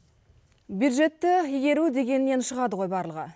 бюджетті игеру дегеннен шығады ғой барлығы